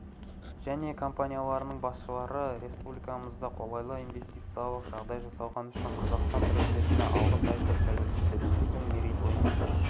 іі және компанияларының басшылары республикамызда қолайлы инвестициялық жағдай жасалғаны үшін қазақстан президентіне алғыс айтып тәуелсіздігіміздің мерейтойымен